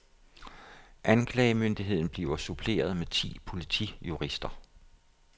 Anklagemyndigheden bliver suppleret med ti politijurister.